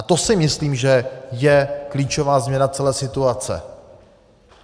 A to si myslím, že je klíčová změna celé situace.